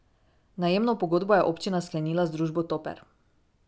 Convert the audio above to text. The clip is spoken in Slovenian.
Najemno pogodbo je občina sklenila z družbo Toper.